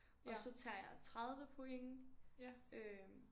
Og så tager jeg 30 point øh